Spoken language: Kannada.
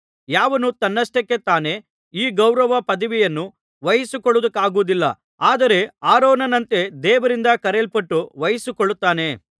ಯಾವನೂ ತನ್ನಷ್ಟಕ್ಕೆ ತಾನೇ ಈ ಗೌರವ ಪದವಿಯನ್ನು ವಹಿಸಿಕೊಳ್ಳುವುದಕ್ಕಾಗುವುದಿಲ್ಲ ಆದರೆ ಆರೋನನಂತೆ ದೇವರಿಂದ ಕರೆಯಲ್ಪಟ್ಟು ವಹಿಸಿಕೊಳ್ಳುತ್ತಾನೆ